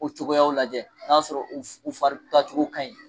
U cogoyaw lajɛ n'a y'a sɔrɔ u fari tacogo ka ɲi.